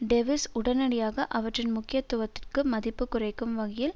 டெவிஸ் உடனடியாக அவற்றின் முக்கியத்துவத்திற்கு மதிப்பு குறைக்கும் வகையில்